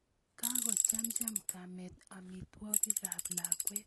Kakochamcham kamet amitwogikap lakwet